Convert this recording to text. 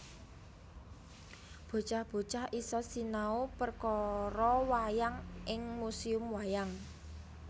Bocah bocah iso sinau perkoro wayang ing Museum Wayang